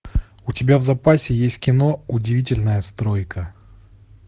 у тебя в запасе есть кино удивительная стройка